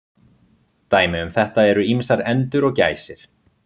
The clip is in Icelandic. Dæmi um þetta eru ýmsar endur og gæsir.